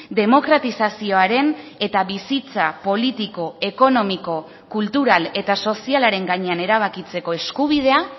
demokratizazioaren eta bizitza politiko ekonomiko kultural eta sozialaren gainean erabakitzeko eskubidea